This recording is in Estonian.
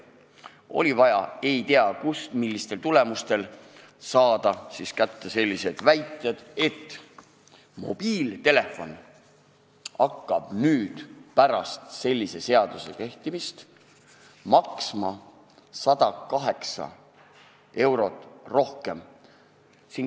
Oli vaja ei tea kust saada kätte näiteks selline väide, et mobiiltelefon hakkab pärast selle seaduse kehtima hakkamist maksma 108 eurot rohkem.